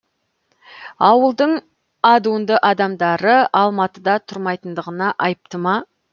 ауылдың адуынды адамдары алматыда тұрмайтындығына айыпты ма